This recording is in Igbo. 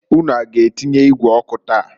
Unu a g'atinye igwe ọkụ taa?